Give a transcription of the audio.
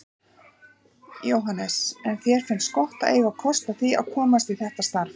Jóhannes: En þér finnst gott að eiga kost á því að komast í þetta starf?